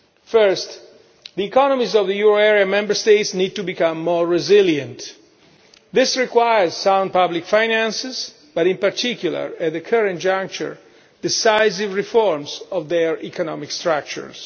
First, the economies of the euro area Member States need to become more resilient. This requires sound public finances, but in particular at the current juncture, decisive reforms of their economic structures.